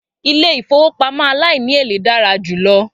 Ilé ìfowópamọ́ aláìníèlé dára jù lọ